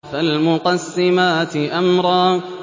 فَالْمُقَسِّمَاتِ أَمْرًا